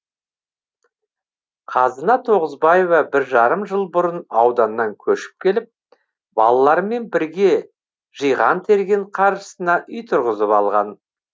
қазына тоғызбаева бір жарым жыл бұрын ауданнан көшіп келіп балаларымен бірге жиған терген қаржысына үй тұрғызып алған